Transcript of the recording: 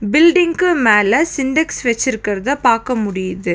பில்டிங்க்கு மேல சின்டெக்ஸ் வெச்சிருக்குறத பாக்க முடியுது.